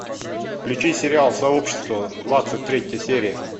включи сериал сообщество двадцать третья серия